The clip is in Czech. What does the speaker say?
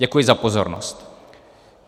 Děkuji za pozornost.